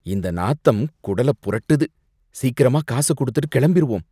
இந்த நாத்தம் குடல புரட்டுது. சீக்கிரமா காசு கொடுத்துட்டு கிளம்பிருவோம்.